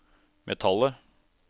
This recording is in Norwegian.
metallet